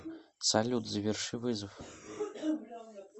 салют заверши вызов